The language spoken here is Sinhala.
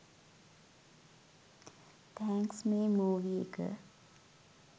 තැන්ක්ස් මේ මූවි එක